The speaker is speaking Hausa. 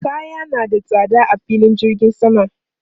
Kaya na da tsada a filin jirgin sama.